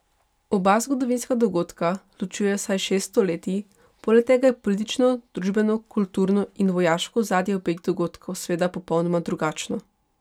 Oba zgodovinska dogodka ločuje vsaj šest stoletij, poleg tega je politično, družbeno, kulturno in vojaško ozadje obeh dogodkov seveda popolnoma drugačno.